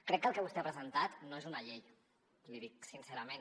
crec que el que vostè ha presentat no és una llei l’hi dic sincerament